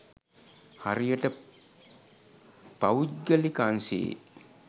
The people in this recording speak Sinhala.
හරියට පවුද්ගලික අංශයේ